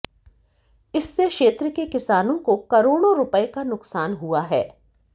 इससे क्षेत्र के किसानों को करोड़ों रुपए का नुकसान हुआ है